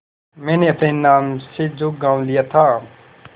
मैंने अपने नाम से जो गॉँव लिया था